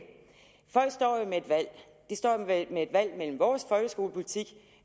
folk står jo med et valg de står med et valg mellem vores folkeskolepolitik